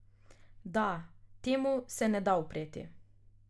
Da, temu se ne da upreti.